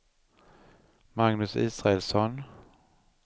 Magnus Israelsson